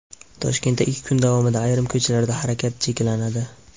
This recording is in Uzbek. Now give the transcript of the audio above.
Toshkentda ikki kun davomida ayrim ko‘chalarda harakat cheklanadi.